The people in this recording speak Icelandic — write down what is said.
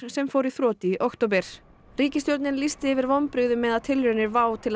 sem fór í þrot í október ríkisstjórnin lýsti yfir vonbrigðum með að tilraunir WOW til